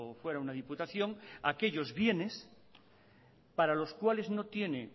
fuera una diputación aquellos bienes para los cuales no tienen